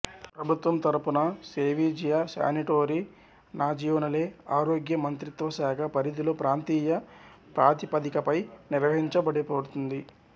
ప్రభుత్వం తరఫున సేవిజియో శానిటోరి నాజియోనలే ఆరోగ్య మంత్రిత్వశాఖ పరిధిలో ప్రాంతీయ ప్రాతిపదికపై నిర్వహించబడుతుంది